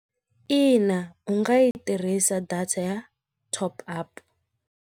In u nga yi tirhisa data ya top-up.